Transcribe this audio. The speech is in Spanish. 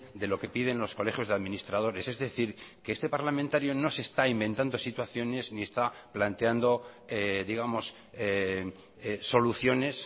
de lo que piden los colegios de administradores es decir que este parlamentario no se está inventando situaciones ni está planteando digamos soluciones